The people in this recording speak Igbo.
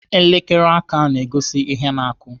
Elekere aka na-egosi ihe na-akụ.